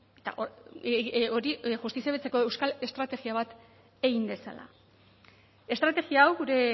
euskal estrategia bat egin dezala estrategia hau gure